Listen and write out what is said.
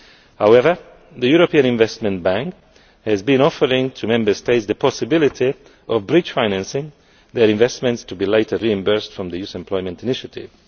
However, the European Investment Bank has been offering to Member States the possibility of bridge financing, with their investments to be later reimbursed from the Youth Employment Initiative.